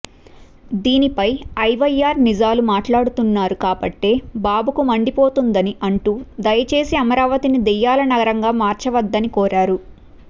దీనిపై ఐవైఆర్ నిజాలు మాట్లాడుతున్నారు కాబట్టే బాబుకు మండిపోతున్నదని అంటూ దయచేసి అమరావతిని దెయ్యాల నగరంగా మార్చవద్దని కోరారు